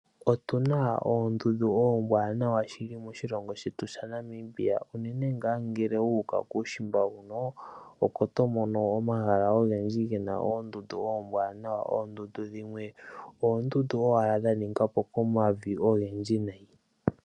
Otuna oondundu oombwanawa shili moshilongo shetu shaNamibia, unene ngaa ngele wu uka kuushimba huno, oko to mono omahala ogendji gena oondundu oombwanawa. Oondundu dhimwe, oondundu owala dha ningwa po komavi ogendji nayi.